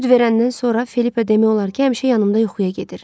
Süd verəndən sonra Filippa demək olar ki, həmişə yanımda yuxuya gedir.